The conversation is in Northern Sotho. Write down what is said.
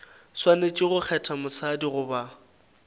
swanetše go kgetha mosadi goba